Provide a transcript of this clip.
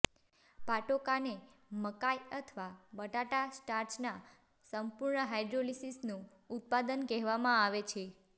પાટોકાને મકાઈ અથવા બટાટા સ્ટાર્ચના અપૂર્ણ હાઇડોલીસિસનું ઉત્પાદન કહેવામાં આવે છે